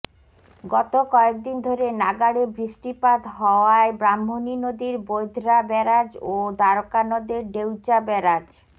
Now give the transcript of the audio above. গত কয়েকদিন ধরে নাগাড়ে বৃষ্টিপাত হওয়ায় ব্রাহ্মণী নদীর বৈধরা ব্যারাজ ও দ্বারকা নদের ডেউচা ব্যারাজ